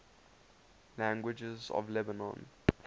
languages of lebanon